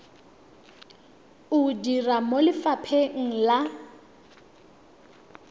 o dira mo lefapheng la